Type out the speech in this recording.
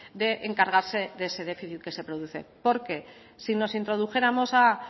de encargarse de ese déficit que se produce porque si nos introdujéramos a